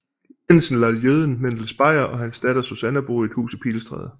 Jensen lader jøden Mendel Speyer og hans datter Susanna bo i et hus i Pilestræde